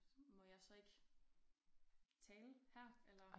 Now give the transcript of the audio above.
Må jeg så ikke tale her eller?